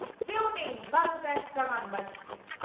কেউ নেই বারোটা একটা গান বাজছে